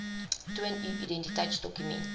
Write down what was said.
toon u identiteitsdokument